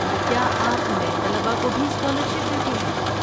کیا آپ نئے طلبہ کو بھی اسکالرشپ دیتے ہیں؟